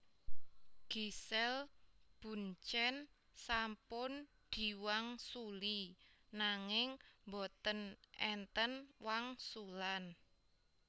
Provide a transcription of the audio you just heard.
Giselle Bundchen sampun diwangsuli nanging mboten enten wangsulan